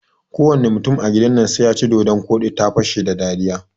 Kowane mutum a gidan nan sai yaci dodon koɗi, ta fashe da dariya